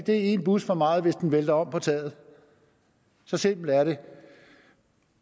en bus for meget hvis den vælter om på taget så simpelt er det